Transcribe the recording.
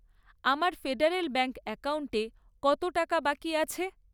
আমার federal bank অ্যাকাউন্টে কত টাকা বাকি আছে?